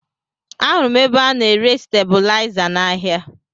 Ahụrụ m ebe a na-ere stebilaịza n'ahịa